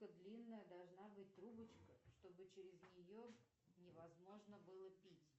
длинная должна быть трубочка чтобы через нее невозможно было пить